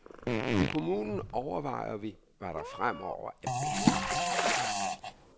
I kommunen overvejer vi, hvad der fremover er bedst.